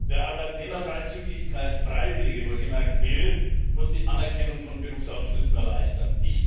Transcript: Wer Arbeitnehmerfreizügigkeit freiwillige, wohl gemerkt will, muss die Anerkennung von Berufsabschlüssen erleichtern.